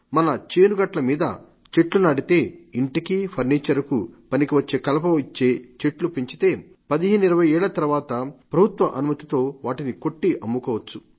మన చేను గట్ల మీద చెట్లు నాటితే ఇంటికీ ఫర్నీచర్ కు పనికివచ్చే కలప ఇచ్చే చెట్లు పెంచితే 1520 ఏళ్ల తర్వాత ప్రభుత్వ అనుమతితో వాటిని కొట్టి అమ్ముకోవచ్చు